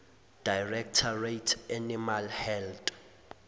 directorate animal health